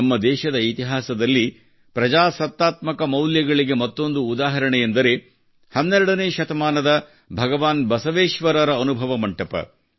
ನಮ್ಮ ದೇಶದ ಇತಿಹಾಸದಲ್ಲಿ ಪ್ರಜಾಸತ್ತಾತ್ಮಕ ಮೌಲ್ಯಗಳಿಗೆ ಮತ್ತೊಂದು ಉದಾಹರಣೆಯೆಂದರೆ 12 ನೇ ಶತಮಾನದ ಭಗವಾನ್ ಬಸವೇಶ್ವರರ ಅನುಭವ ಮಂಟಪ